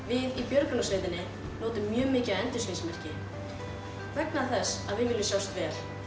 í björgunarsveitinni notum mjög mikið af endurskinsmerkjum vegna þess að við viljum sjást vel